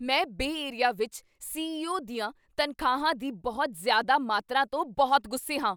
ਮੈਂ Bay Area ਵਿੱਚ CEO ਦੀਆਂ ਤਨਖਾਹਾਂ ਦੀ ਬਹੁਤ ਜ਼ਿਆਦਾ ਮਾਤਰਾ ਤੋਂ ਬਹੁਤ ਗੁੱਸੇ ਹਾਂ।